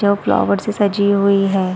जो फ्लोवर से सजी हुई है।